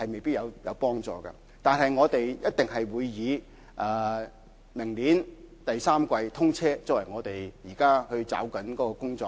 不過，我們一定會以明年第三季通車作為目標，抓緊工作。